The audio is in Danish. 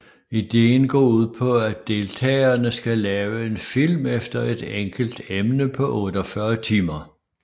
Ideen går ud på at deltagerne skal lave en film efter et enkelt emne på 48 timer